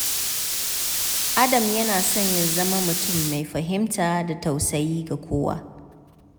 Adam yana son ya zama mutum mai fahimta da tausayi ga kowa.